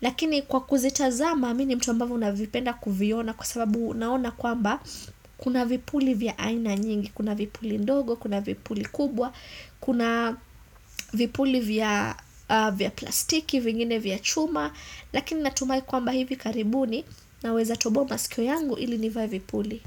Lakini kwa kuzitazama, mi ni mtu ambavyo navipenda kuviona kwa sababu naona kwamba kuna vipuli vya aina nyingi, kuna vipuli ndogo, kuna vipuli kubwa, kuna vipuli vya plastiki, vingine vya chuma. Lakini natumai kwamba hivi karibuni naweza toboa masikio yangu ili nivae vipuli.